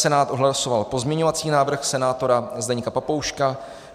Senát odhlasoval pozměňovací návrh senátora Zdeňka Papouška.